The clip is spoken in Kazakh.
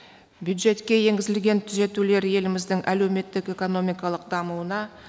бюджетке енгізілген түзетулер еліміздің әлеуметтік экономикалық дамуына